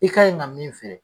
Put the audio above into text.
I ka ɲi ka min feere